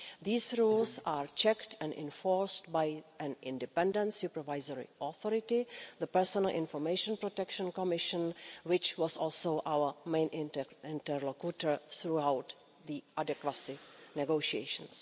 These rules are checked and enforced by an independent supervisory authority the Personal Information Protection Commission which was also our main interlocutor throughout the adequacy negotiations.